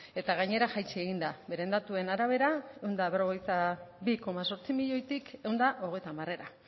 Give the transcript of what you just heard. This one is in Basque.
eta gainera jaitsi egin da beren datuen arabera ehun eta berrogeita bi koma zortzi milioitik ehun eta hogeita hamarera